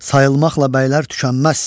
Sayılmaqla bəylər tükənməz.